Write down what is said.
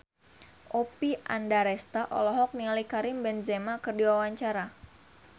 Oppie Andaresta olohok ningali Karim Benzema keur diwawancara